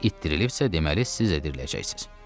İt dirilibsə, deməli siz də diriləcəksiz.